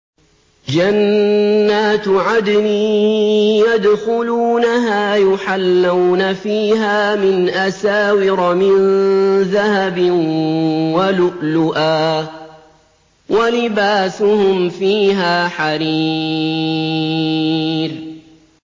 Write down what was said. جَنَّاتُ عَدْنٍ يَدْخُلُونَهَا يُحَلَّوْنَ فِيهَا مِنْ أَسَاوِرَ مِن ذَهَبٍ وَلُؤْلُؤًا ۖ وَلِبَاسُهُمْ فِيهَا حَرِيرٌ